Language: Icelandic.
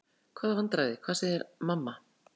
Hvaða vandræði, hvað segir mamma?